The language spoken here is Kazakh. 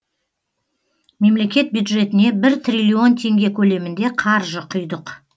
мемлекет бюджетіне бір триллион теңге көлемінде қаржы құйдық